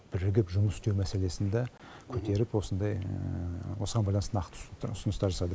бірігіп жұмыс істеу мәселесін де көтеріп осындай осыған байланысты нақты ұсыныстар жасады